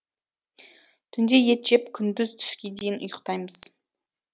түнде ет жеп күндіз түске дейін ұйықтаймыз